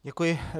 Děkuji.